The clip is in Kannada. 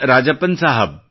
ರಾಜಪ್ಪನ್ ಸಾಹಬ್